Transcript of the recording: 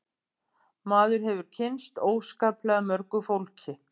Maður hefur kynnst óskaplega mörgu fólki